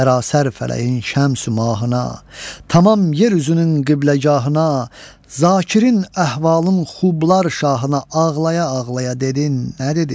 Sərasər fələyin şəmsi mahına, tamam yer üzünün qibləgahına, Zakirin əhvalın xublar şahına ağlaya-ağlaya dedin nə dedi?